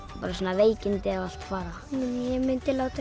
veikindi og allt fara ég myndi láta